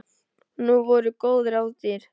Og nú voru góð ráð dýr.